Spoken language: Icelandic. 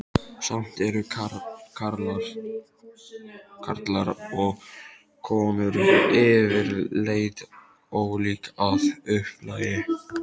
Samt eru karlar og konur yfirleitt ólík að upplagi.